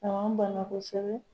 A bana kosɛbɛ.